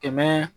Kɛmɛ